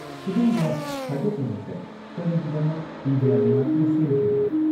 ꯁꯤꯒꯨꯝꯕ ꯈꯥꯏꯗꯣꯛꯅꯕꯁꯦ ꯀꯔꯤꯒꯤꯗꯃꯛ ꯏꯟꯗꯤꯌꯥ ꯂꯩꯉꯥꯛꯅ ꯁꯦꯝꯈꯤꯕꯅꯣ?